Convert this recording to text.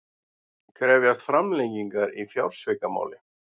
Krefjast framlengingar í fjársvikamáli